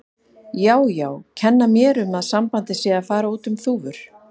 Já, já, kenna mér um að sambandið sé að fara út um þúfur.